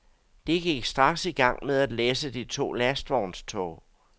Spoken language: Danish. De gik straks i gang med at læsse de to lastvognstog.